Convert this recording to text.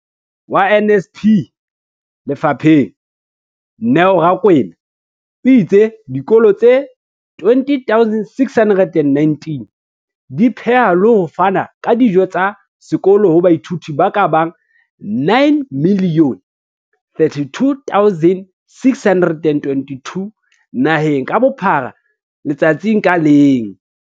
Molaodi wa NSNP lefapheng, Neo Rakwena, o itse dikolo tse 20 619 di pheha le ho fana ka dijo tsa sekolo ho baithuti ba ka bang 9 032 622 naheng ka bophara letsatsi ka leng.